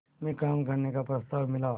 में काम करने का प्रस्ताव मिला